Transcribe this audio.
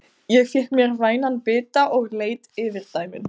Ég fékk mér vænan bita og leit yfir dæmin.